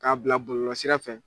K'a bila bɔlɔlɔsira fɛ